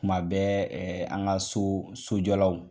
kuma bɛ ɛɛ an ka so sojɔlaw